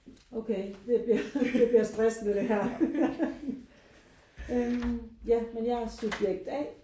Okay det bliver det bliver stressende det her øh ja men jeg er subjekt A